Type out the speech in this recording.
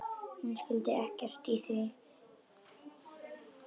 Hún skildi ekkert í því.